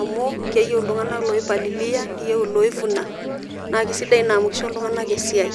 Amu keyieu iltung'anak loipalilia, neyieu iloivuna, na kesidai naa amu kisho iltung'anak esiai.